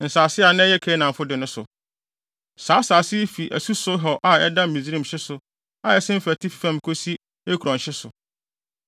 “nsase a na ɛyɛ Kanaanfo de no so. Saa asase yi fi asu Sihor a ɛda Misraim hye so a ɛsen fa atifi fam kosi Ekron hye so,